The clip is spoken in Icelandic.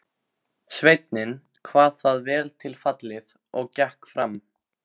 Sveinninn kvað það vel til fallið og gekk fram.